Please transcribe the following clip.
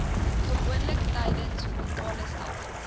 gewoonlik tydens frontalestelsels